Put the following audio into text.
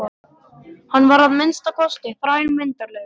Hann var að minnsta kosti þrælmyndarlegur.